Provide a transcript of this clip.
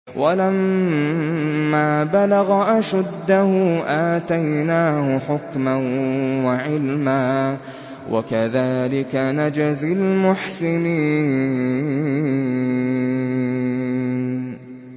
وَلَمَّا بَلَغَ أَشُدَّهُ آتَيْنَاهُ حُكْمًا وَعِلْمًا ۚ وَكَذَٰلِكَ نَجْزِي الْمُحْسِنِينَ